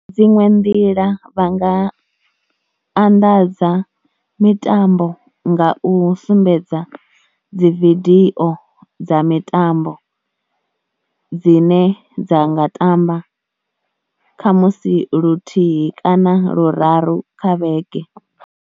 Dziṅwe nḓila vha nga anḓadza mitambo nga u sumbedza dzi vidio dza mitambo dzine dza nga tamba khamusi luthihi kana luraru kha vhege.